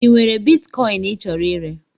Ị nwere bitkọin ị chọrọ ire?